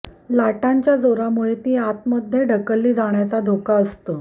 लाटांच्या जोरामुळे ती आतमध्ये ढकलली जाण्याचा धोका असतो